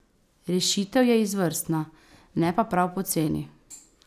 Rešitev je izvrstna, ne pa prav poceni.